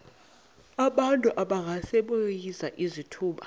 abantu abangasebenziyo izithuba